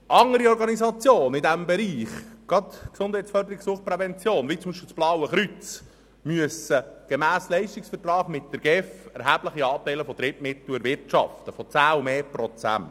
Andere Organisationen im Bereich Gesundheitsförderung und Suchtprävention wie das Blaue Kreuz müssen gemäss Leistungsvertrag mit der GEF erhebliche Anteile von Drittmitteln von 10 Prozent oder mehr erwirtschaften.